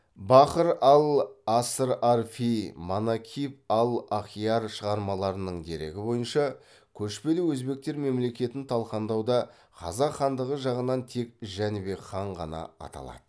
бахр ал асрарфи манакиб ал ахиар шығармаларының дерегі бойынша көшпелі өзбектер мемлекетін талқандауда қазақ хандығы жағынан тек жәнібек хан ғана аталады